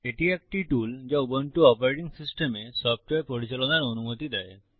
এটি একটি টুল যা উবুন্টু অপারেটিং সিস্টেমে সফ্টওয়্যার পরিচালনার অনুমতি দেয়